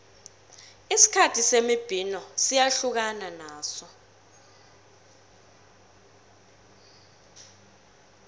isikhathi semibhino siyahlukana naso